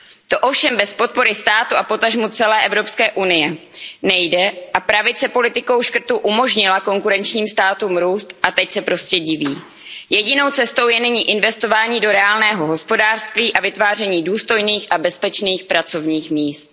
To ovšem bez podpory státu a potažmo celé EU nejde a pravice politikou škrtů umožnila konkurenčním státům růst a teď se prostě diví. Jedinou cestou je nyní investování do reálného hospodářství a vytváření důstojných a bezpečných pracovních míst.